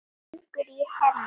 Það fýkur í Hemma.